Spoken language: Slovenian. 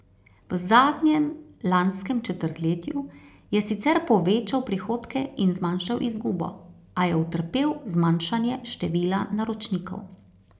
V zadnjem lanskem četrtletju je sicer povečal prihodke in zmanjšal izgubo, a je utrpel zmanjšanje števila naročnikov.